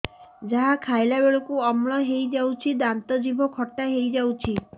ଯାହା ଖାଇଲା ବେଳକୁ ଅମ୍ଳ ହେଇଯାଉଛି ଦାନ୍ତ ଜିଭ ଖଟା ହେଇଯାଉଛି